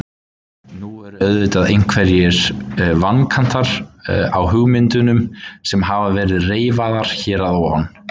Nú eru auðvitað einhverjir vankantar á hugmyndunum sem hafa verið reifaðar hér að ofan.